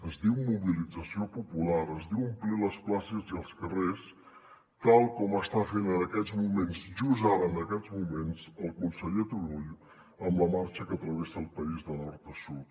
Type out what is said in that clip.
es diu mobilització popular es diu omplir les places i els carrers tal com està fent en aquests moments just ara en aquests moments el conseller turull amb la marxa que travessa el país de nord a sud